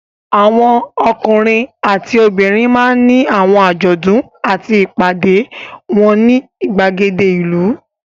Àwọn ọkùnrin àti obìnrin máa ń ní àwọn àjọ̀dún àti ìpàdé wọn ní ìgbàgede ìlú.